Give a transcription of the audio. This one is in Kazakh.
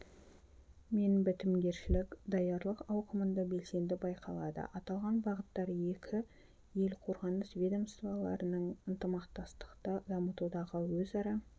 мен бітімгершілік даярлық ауқымында белсенді байқалады аталған бағыттар екі ел қорғаныс ведомстваларының ынтымақтастықты дамытудағы өзара